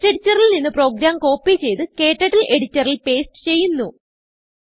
textഎഡിറ്ററിൽ നിന്ന് program copy ചെയ്ത് ക്ടർട്ടിൽ എഡിറ്ററിൽ പേസ്റ്റ് ചെയ്യുന്നു